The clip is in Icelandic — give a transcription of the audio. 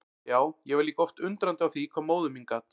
Já, ég var líka oft undrandi á því hvað móðir mín gat.